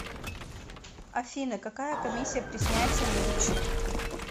афина какая комиссия при снятии наличных